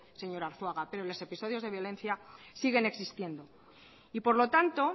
señor arzuaga pero los episodios de violencia siguen existiendo y por lo tanto